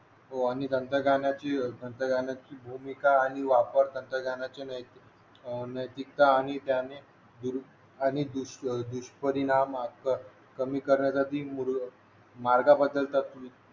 हो आणि तंत्रज्ञानाची तंत्रज्ञानाची भूमिका आणि वापर तंत्रज्ञानाची नैतिकता आणि आणि दुष्परिणाम कमी करण्यासाठी मुलं मार्ग बदलतात